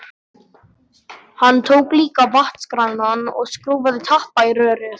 Hann tók líka vatnskranann og skrúfaði tappa í rörið.